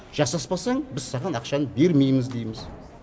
жасаспасаң біз саған ақшаны бермейміз дейміз